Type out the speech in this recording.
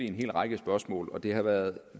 hel række spørgsmål og det har været